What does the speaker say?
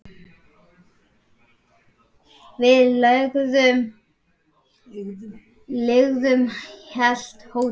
Við leigðum heilt hótel.